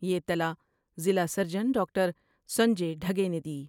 یہ اطلاع ضلع سرجن ڈاکٹر سنجے ڈھگے نے دی ۔